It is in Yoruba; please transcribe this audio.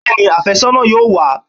Bẹ́ẹ̀ni, afẹ́sọ́nà yóò wá